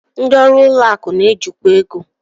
Ndị ọrụ ụlọ akụ na-ejikwa ego